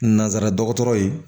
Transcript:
Nanzara dɔgɔtɔrɔ ye